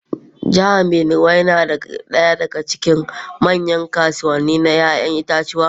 Jihar Binuwai na daya daga cikin manyan kasuwannin ‘ya’yan itatuwa.